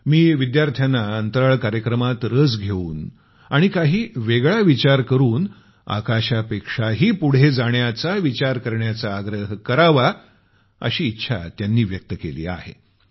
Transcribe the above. मी विद्यार्थ्यांना अंतराळ कार्यक्रमात रस घेऊन आणि काही वेगळा विचार करून आकाशापेक्षाही पुढे जाण्याचा विचार करण्याचा आग्रह करावा अशी इच्छा त्यांनी व्यक्त केली आहे